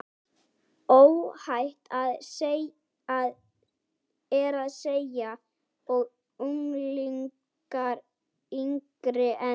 Óhætt er að segja að unglingar yngri en